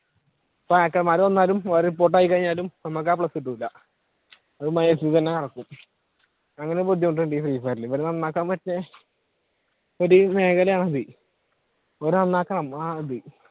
ഇപ്പ hackers മാർ കൊന്നാലും report ആയി കഴിഞ്ഞാലും നമ്മള്ക്ക് ആ plus കിട്ടൂല അങ്ങനെ ഒരു ബുദ്ധിമുട്ടുണ്ട് ഈ free fire ഇൽ ഒരു മേഖലയാണ് ഇത് ഇവർ നന്നാക്കണം അഹ് ഇത്